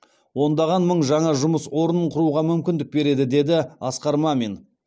ондаған мың жаңа жұмыс орнын құруға мүмкіндік береді деді асқар мамин